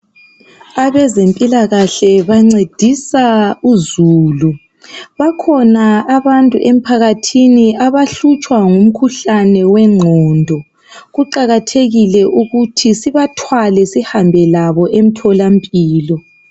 Abezempilakahle bancedisa uzulu bakhona abantu emphakathini abahlutshwa ngumkhuhlane wengqondo kuqakathekile ukuthi sibathwale sihambe labo emtholampilo